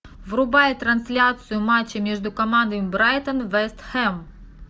врубай трансляцию матча между командами брайтон вест хэм